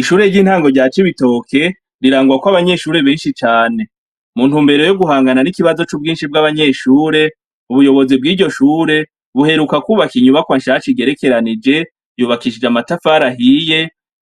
Ishure ry'intango rya cibitoke rirangwa ko abanyeshuri benshi cane, muntumbere yo guhangana n'ikibazo c'ubwinshi bw'abanyeshure ubuyobozi bw'iryo shure buheruka kubaka inyubakwa nshasha igerekeranije yubakishije amatafari ahiye